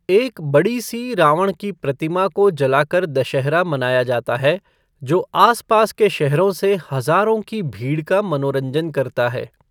एक बड़ी सी 'रावण की प्रतिमा' को जलाकर दशहरा मनाया जाता है, जो आस पास के शहरों से हजारों की भीड़ का मनोरंजन करता है।